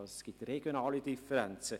Es gibt regionale Differenzen.